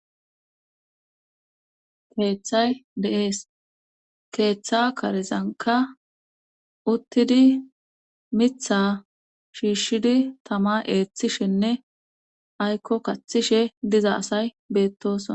keeththay de7ees keeththa karizanka uttidi mitha shiishshidi tama eeththishenne aykko kaththishe diza asay beettosona